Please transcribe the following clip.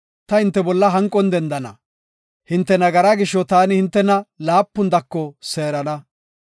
ta hinte bolla hanqon dendana. Hinte nagaraa gisho taani hintena laapun dako seerana.